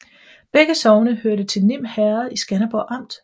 Begge sogne hørte til Nim Herred i Skanderborg Amt